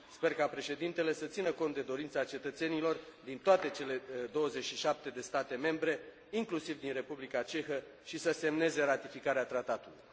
Sper ca președintele să țină cont de dorința cetățenilor din toate cele 27 de state membre, inclusiv din Republica Cehă, și să semneze ratificarea tratatului.